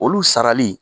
Olu sarali